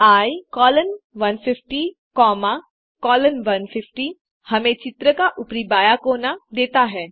Icolon 150 comma colon 150 हमें चित्र का ऊपरी बायाँ कोना देता है